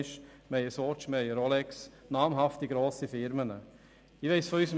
Wir haben Swatch und Rolex, also namhafte, grosse Firmen an unserem Standort.